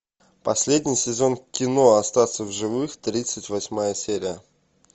последний сезон кино остаться в живых тридцать восьмая серия